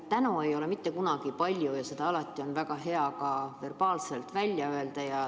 Tänu ei ole mitte kunagi palju ja seda on alati väga hea ka verbaalselt välja öelda.